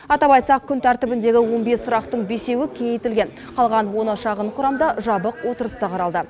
атап айтсақ күн тәртібіндегі он бес сұрақтың бесеуі кеңейтілген қалған оны шағын құрамда жабық отырыста қаралды